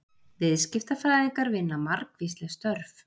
viðskiptafræðingar vinna margvísleg störf